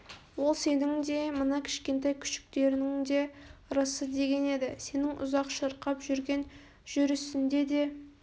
ол сенің де мына кішкентай күшіктеріңнің де ырысы деген еді сенің ұзақ шырқап жүрген жүрісінді де